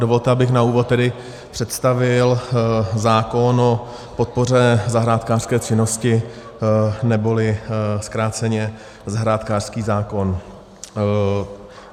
Dovolte, abych na úvod tedy představil zákon o podpoře zahrádkářské činnosti, neboli zkráceně zahrádkářský zákon.